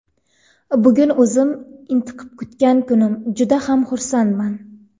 Bugun o‘zim intiqib kutgan kunim, juda ham xursandman.